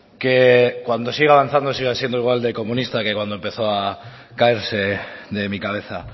que cuando siga avanzando siga siendo igual de comunista que cuando empezó a caerse de mi cabeza